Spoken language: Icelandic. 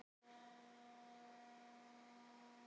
Getum við látið taka rauða spjaldið til baka?